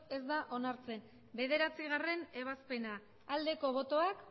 ez da onartzen bederatzigarrena ebazpena aldeko botoak